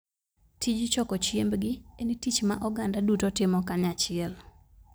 Tij choko chiembgi en tich ma oganda duto timo kanyachiel.